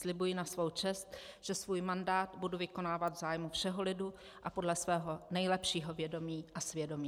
Slibuji na svou čest, že svůj mandát budu vykonávat v zájmu všeho lidu a podle svého nejlepšího vědomí a svědomí.